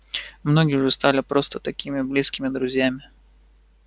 многие уже стали просто такими близкими друзьями